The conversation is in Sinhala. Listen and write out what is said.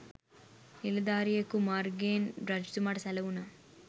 නිලධාරියකු මාර්‍ගයෙන් රජතුමාට සැළවුණා.